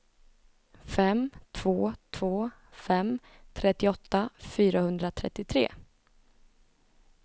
fem två två fem trettioåtta fyrahundratrettiotre